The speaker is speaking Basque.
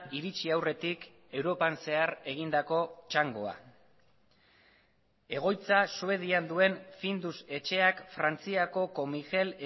iritsi aurretik europan zehar egindako txangoa egoitza suedian duen findus etxeak frantziako comigel